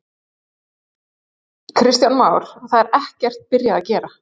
Kristján Már: Það er ekkert byrjað að gera?